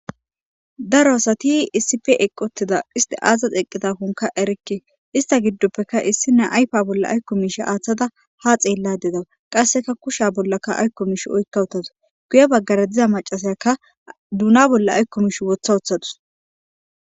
Daro asati issipe eqqotida isti aazaz eqqida honka erikke ista giddoppeka issine ayfa bolla aykko miish aaththada ha xeella dedawa qasseka kusha bollaka aykko miish oykka utadus guye baggare diza macasayaka duuna bolla aykko mish wotha uththadus.